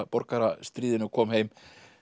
borgarastríðinu og kom heim